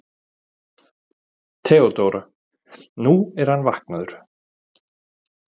THEODÓRA: Nú, hann er vaknaður.